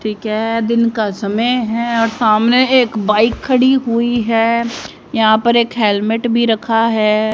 ठीक है दिन का समय है और सामने एक बाइक खड़ी हुई है यहां पर एक हेलमेट भी रखा है।